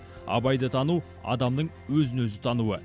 абайды тану адамның өзін өзі тануы